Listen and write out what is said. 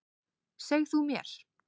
Seg þú mér.